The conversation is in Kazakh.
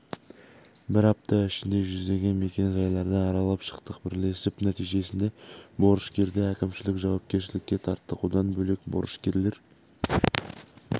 бір апта ішінде жүздеген мекен-жайларды аралап шықтық бірлесіп нәтижесінде борышкерді әкімшілік жауапкершілікке тарттық одан бөлек борышкерлер